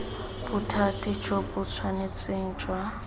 bothati jo bo tshwanetseng jwa